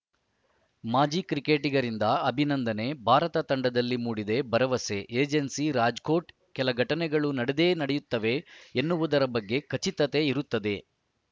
ಮಾಜಿ ಕ್ರಿಕೆಟಿಗರಿಂದ ಅಭಿನಂದನೆ ಭಾರತ ತಂಡದಲ್ಲಿ ಮೂಡಿದೆ ಭರವಸೆ ಏಜೆನ್ಸಿ ರಾಜ್‌ಕೋಟ್‌ ಕೆಲ ಘಟನೆಗಳು ನಡೆದೇ ನಡೆಯುತ್ತವೆ ಎನ್ನುವುದರ ಬಗ್ಗೆ ಖಚಿತತೆ ಇರುತ್ತದೆ